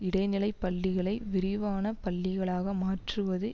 இடைநிலைப் பள்ளிகளை விரிவான பள்ளிகளாக மாற்றுவது